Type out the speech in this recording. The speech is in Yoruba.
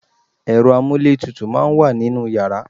Ẹ̀rọ amúlétutù máa ń wà nínú yàrá